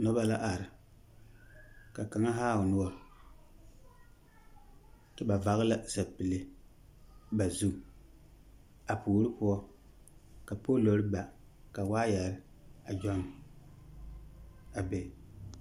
Noba la are, ka kaŋa haa o noɔre. Kyɛ vagele la sapile ba zu, a puori poɔ ka poolor b aka waayɛr a gyɔnn a be.